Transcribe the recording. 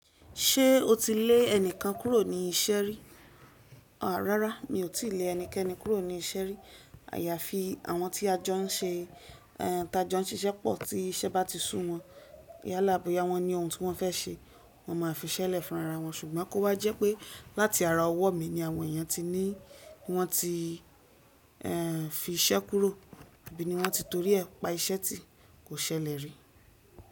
Ṣé o ti lé ẹnìkan kúrò ní ìṣeré? Rárá, mi ò tíì lé ẹnikẹ́ni kúrò ní ìṣẹ̀ri. Àyàfi àwọn tí a jọ ń ṣe, ẹ́ ta jọ ń ṣiṣẹ́ pọ̀ tí iṣẹ́ bá ti sú wọn. Yá làboyá wọn ni ohun tí wọ́n fẹ́ ṣe, wọ́n máa fiṣẹ́lẹ̀ fún ara wọn. Ṣùgbọ́n kó wa jẹ́ pé láti ara ọwọ́ mi ni àwọn èèyàn ti ní wọ́n ti ẹ́ fi iṣẹ́ kúrò àbí ni wọ́n ti torí ẹ̀ pa iṣẹ́ tí kò ṣẹlẹ̀ rí.